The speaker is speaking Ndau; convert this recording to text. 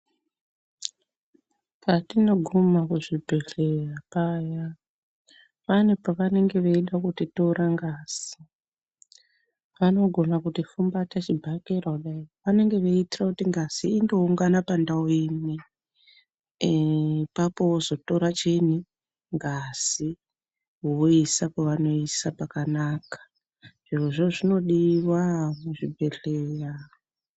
Patinoguma kuzvibhedhleya paya pane pavanenge veida kuti tora ngazi vanogona kuti fumbata chibhakera kudai vanenge veiitira kuti ngazi ingoungana pandau imwe. Eepapo vozotora chiini ngazi voiisa kwevanoiisa kwakanaka zvirozvo zvinodiva muzvibhedhleya.